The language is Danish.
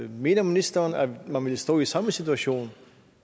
mener ministeren at man ville stå i samme situation